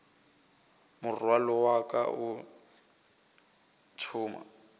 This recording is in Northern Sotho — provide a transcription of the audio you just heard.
morwalo wa ka o thoma